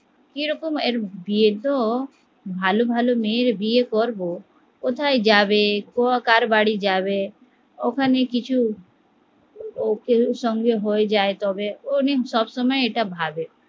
কিরকম এর বিয়ে তো ভালো ভালো মেয়ের বিয়ে করবো কোথায় যাবে কার বাড়ি যাবে, ওখানে কিছু ওর সঙ্গে হয়ে যায় যদি তবে উনি সবসময় এটা ভাবে